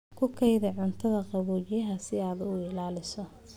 Ku kaydi cuntada qaboojiyaha si aad u ilaaliso.